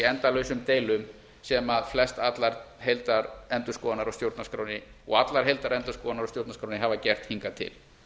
endalausum deilum sem flestallar heildarendurskoðanir á stjórnarskránni og allar heildarendurskoðanir á stjórnarskránni hafa gert hingað til